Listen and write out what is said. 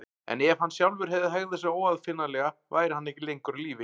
En ef hann sjálfur hefði hegðað sér óaðfinnanlega væri hann ekki lengur á lífi.